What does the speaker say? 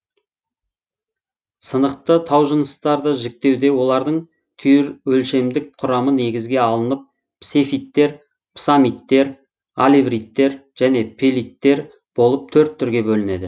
сынықты таужыныстарды жіктеуде олардың түйірөлшемдік құрамы негізге алынып псефиттер псаммиттер алевриттер және пелиттер болып төрт түрге бөлінеді